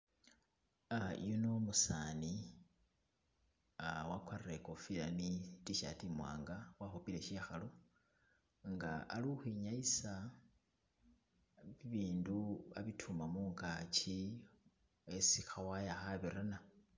Ah yuno umusani, ah wakwarire ikofila ni Tshirt imwanga wakhupile shikhalu nga ali ukhwinyayisa bibindu abituma mungaki isi kha wire khabirana